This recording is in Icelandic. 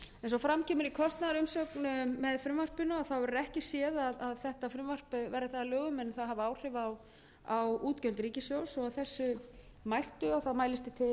eins og fram kemur í kostnaðarumsögn með frumvarpinu verður ekki séð að þetta frumvarp verði það að lögum það hafi áhrif á útgjöld ríkissjóðs að þessu mæltu mælist ég til